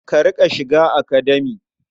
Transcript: A riƙa shiga Academia.